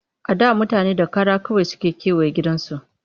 A da mutane da kara kawai suke kewaye gidajensu